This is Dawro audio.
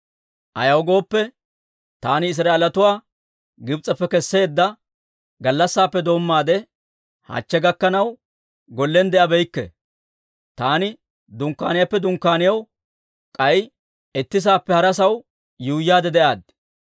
Ayaw gooppe, taani Israa'eelatuwaa Gibs'eppe kesseedda gallassaappe doommaade hachche gakkanaw, gollen de'abeykke; taani dunkkaaniyaappe dunkkaaniyaw, k'ay itti saappe hara sa'aw yuuyyaade de'aad.